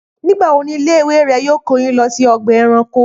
Nígbà wo ni ilé ìwé rẹ yóò kó yín lọ sí ọgbà ẹranko?